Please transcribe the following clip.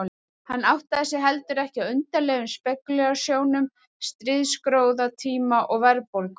Hann áttaði sig heldur ekki á undarlegum spekúlasjónum stríðsgróðatíma og verðbólgu.